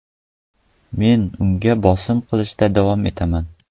Men unga bosim qilishda davom etaman.